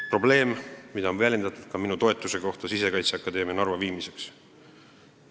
Probleeme on põhjustanud ka minu toetus Sisekaitseakadeemia Narva viimisele.